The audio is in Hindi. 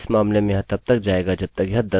अब num 10 हो जाएगा